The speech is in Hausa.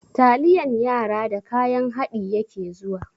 Taliyan yara da kayan haɗi yake zuwa.